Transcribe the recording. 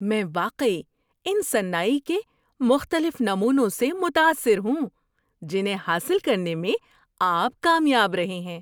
میں واقعی ان صناعی کے مختلف نمونوں سے متاثر ہوں جنہیں حاصل کرنے میں آپ کامیاب رہے ہیں۔